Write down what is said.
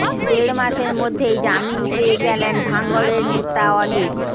দেড় মাসের মধ্যেই জামিন পেয়ে গেলেন ভাঙড়ের নেতা অলীক